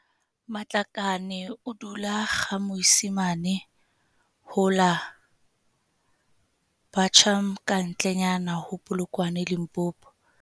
Matlakane o dula GaMoisimane ho la Buchum kantle nyana ho Polokwane Limpopo.